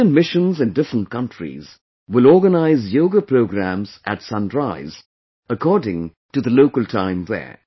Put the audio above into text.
Indian missions in different countries will organize yoga programs at sunrise according to the local time there